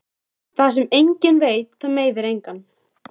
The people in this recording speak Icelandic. Það sem enginn veit það meiðir engan.